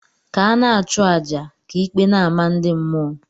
ka ana achu aja, ka ikpe n' amah ndi mmuo.